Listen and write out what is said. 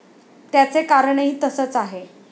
त्याचे कारणही तसंच आहे.